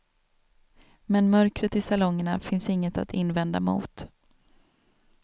Men mörkret i salongerna finns inget att invända mot.